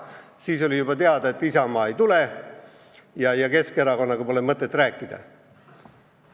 Siis oli juba teada, et Isamaa ei tule ja Keskerakonnaga pole ka mõtet rääkida.